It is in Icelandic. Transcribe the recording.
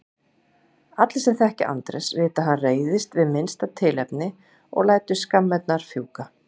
Allir sem þekkja Andrés vita að hann reiðist við minnsta tilefni og lætur skammirnar fjúka.